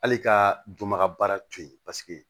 Hali ka juma baara to yen paseke